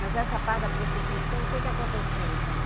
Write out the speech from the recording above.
Mas essa parte da prostituição, o que que aconteceu então?